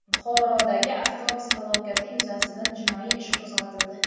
Buxorodagi avtobus halokati yuzasidan jinoiy ish qo‘zg‘atildi.